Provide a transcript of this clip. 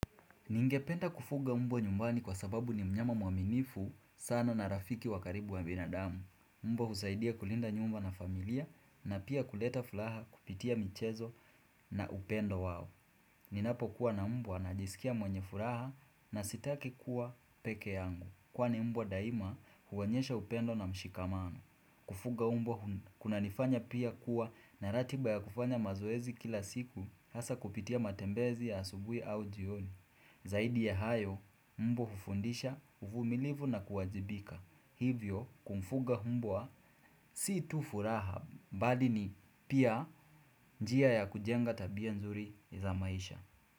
Ningependa kufuga mbwa nyumbani kwa sababu ni mnyama mwaminifu sana na rafiki wa karibu wa binadamu. Mbwa husaidia kulinda nyumba na familia na pia kuleta furaha kupitia michezo na upendo wao. Ninapo kuwa na mbwa najisikia mwenye furaha na sitaki kuwa peke yangu. Kwani mbwa daima huwonyesha upendo na mshikamano. Kufuga mbwa kuna nifanya pia kuwa na ratiba ya kufanya mazoezi kila siku hasa kupitia matembezi ya asubui au jiyoni. Zaidi ya hayo mbwa hufundisha uvumilivu na kuwajibika hivyo kumfuga mbwa si tufuraha mbalini pia njia ya kujenga tabia nzuri za maisha.